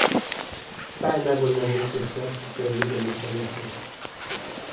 Kaj je najbolj neverjetna stvar, ki ste jo videli v prometu?